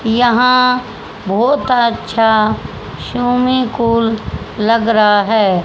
यहां बहुत अच्छा स्विमिंग पूल लग रहा है।